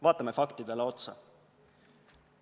Vaatame faktidele otsa.